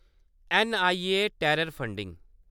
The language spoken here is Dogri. N I A- terror funding